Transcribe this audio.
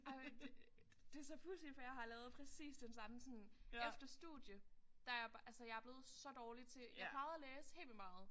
Ej men det det så pudsigt for jeg har lavet præcis den samme sådan efter studie der er jeg altså jeg er blevet så dårlig til jeg plejede at læse helt vildt meget